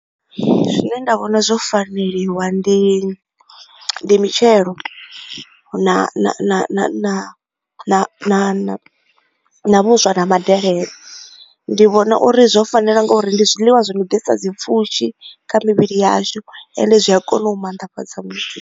Zwine nda vhona zwo faneliwa ndi mitshelo na na na na na na vhuswa na madelele. Ndi vhona uri zwo fanela nga uri ndi zwiḽiwa zwi no ḓisa dzi pfushi kha mivhili yashu ende zwi a kona u maanḓafhadza muthu.